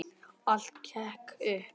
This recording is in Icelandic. Allt gekk upp.